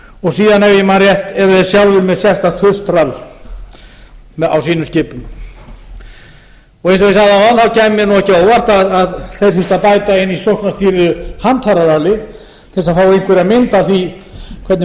og síðan ef ég man rétt erum við sjálfir með sérstakt gulltrall á sínum skipum eins og ég sagði áðan ári mér ekki á óvart að það þyrfti að bæta inn í sóknarstýrða handfæraralli til að fá einhverja mynd af því hvernig